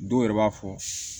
Dɔw yɛrɛ b'a fɔ